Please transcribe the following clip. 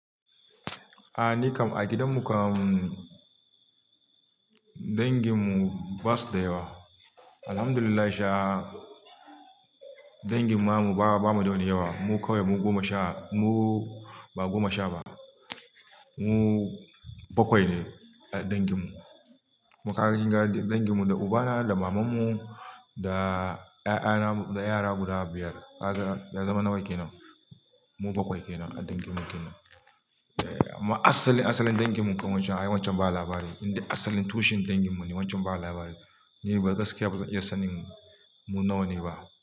A ni kam a gidanmu kam danginmu basu da yawa. Alhamdulillah sha dangin mamanmu ba, ba mu da wani yawa. Mu kawai mu goma sha, mu ba goma sha ba. Mu bakwai ne a danginmu. Makarantar gadi danginmu da ubana da mamanmu da 'ya'yana da yara guda biyar. Ya zama nawai kenan. Mu bakwai kenan a danginmu kenan. Eh amma asalin, asalin danginmu kan wancan, ai wancan ba labari. Inda asalin tushen danginmu ne wancan ba labari. Ni bari gaskiya bazan iya sanin mu nawa ne ba.